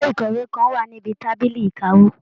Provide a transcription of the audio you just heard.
Gégé ikọwe kàn wá níbi tábìlì ìkáwó.